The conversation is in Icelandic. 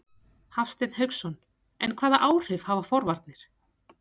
Hafsteinn Hauksson: En hvaða áhrif hafa forvarnir?